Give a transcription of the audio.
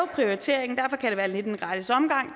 prioriteringen derfor kan det være lidt en gratis omgang